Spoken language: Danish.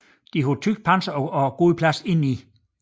De havde tykt panser og god plads indeni